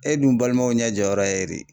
E dun balimaw ɲɛjɔyɔrɔ ye e de ye.